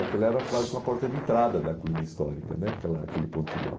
E aquela era quase uma porta de entrada da colina histórica né, aquela aquele pontilhão.